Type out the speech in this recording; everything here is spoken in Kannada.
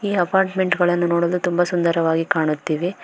ಈ ಅಪಾರ್ಟ್ಮೆಂಟ್ ಗಳನ್ನು ನೋಡಲು ತುಂಬ ಸುಂದರವಾಗಿ ಕಾಣುತ್ತಿವೆ.